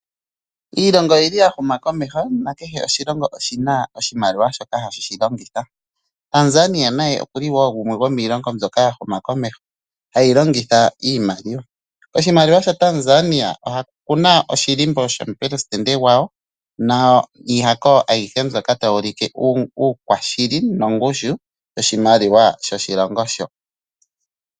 Iilongo oyili ya huma komeho na kehe oshilongo oshina oshimaliwa shoka hashi longitha. Tanzania naye okuli wo gumwe go miilongo mbyoka ya huma komeho, hayi longitha iimaliwa. Oshimaliwa sha Tanzania okuna oshilimbo shomu leli gwawo, niihako ayihe mbyoka tayi ulike uukwashili nongushu yoshimaliwa shoka.